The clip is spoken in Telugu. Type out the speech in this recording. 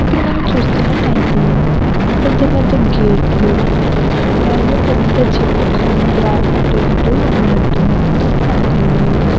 ఇక్కడ మనం చూస్తునట్టయితే పెద్ధ పెద్ధ గేట్ లు అలాగే పెద్ధ చెట్టు కొమ్మలు అటు ఇటు ఉన్నట్టు దాని ఆకులు--